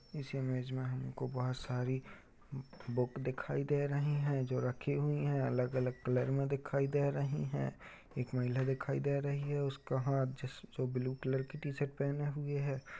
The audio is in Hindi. इस इमेज में हमको बोहोत सारी बुक दिखाई दे रही हैं जो रखी हुई हैं। अलग-अलग कलर में दिखाई दे रही हैं। एक महिला दिखाई दे रही है। उसका हाथ जिस जो ब्लू कलर की ट- शर्ट पहने हुए है।